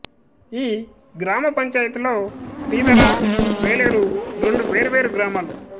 ఈ గ్రామ పంచాయితీలో శ్రీధర వేలేరు రెండు వేర్వేరు గ్రామాలు